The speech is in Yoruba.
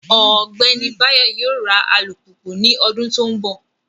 Ogbeni Bayo yoo ra alupupu ni odun to nbo